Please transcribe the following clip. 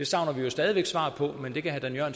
savner vi jo stadig væk svar på men det kan herre